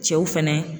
Cɛw fɛnɛ